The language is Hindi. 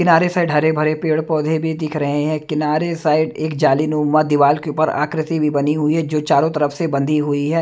किनारे साइड हरे भरे पेड़-पौधे भी दिख रहे हैं किनारे साइड एक जाली नुमा दीवार के ऊपर आकृति भी बनी हुई है जो चारों तरफ से बंधी हुई रही है।